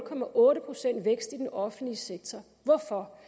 procent vækst i den offentlige sektor hvorfor